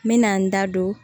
N me na n da don